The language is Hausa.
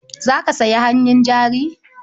Za ka sayi hannun jari?